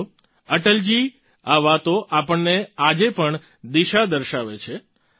સાથીઓ અટલજીની આ વાતો આપણને આજે પણ દિશા દર્શાવે છે